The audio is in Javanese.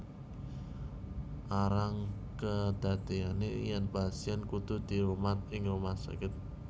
Arang kedadeyane yen pasien kudu dirumat ing rumah sakit